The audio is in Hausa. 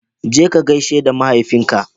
Je ka gaishe da mahaifinka